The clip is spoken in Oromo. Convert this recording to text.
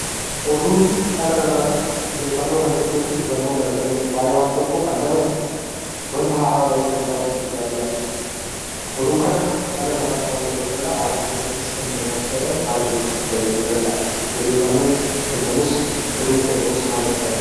Oduun dhala namaaf odeeffannoo kan kennuu fi hubannoo kan kennudha. Wanta haaraa guyyaa guyyaatti kan dabarsu jechuudha.